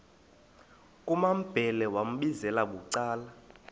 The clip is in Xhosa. kumambhele wambizela bucala